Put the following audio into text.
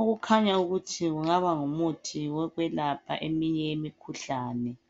okukhanya ukuthi kungaba ngumuthi wokwelapha eminye yemikhuhlane.